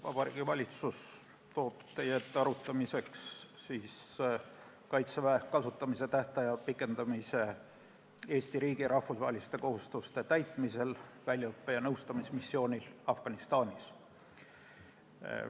Vabariigi Valitsus toob teie ette arutamiseks Kaitseväe kasutamise tähtaja pikendamise Eesti riigi rahvusvaheliste kohustuste täitmisel väljaõppe- ja nõustamismissioonil Afganistanis.